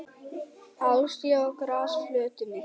Álstigi á grasflötinni.